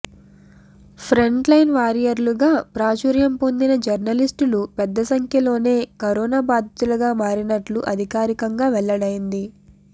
front line వారియర్లుగా ప్రాచుర్యం పొందిన జర్నలిస్టులు పెద్ద సంఖ్యలోనే కరోనా బాధితులుగా మారినట్లు అధికారికంగా వెల్లడైంది